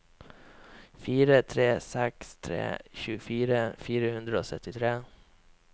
fire tre seks tre tjuefire fire hundre og syttitre